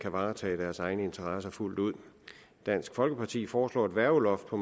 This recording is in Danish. kan varetage deres egne interesser fuldt ud dansk folkeparti foreslår et værgeloft på